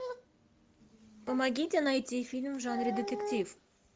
помогите найти фильм в жанре детектив